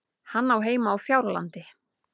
Hann á heima á Fjárlandi.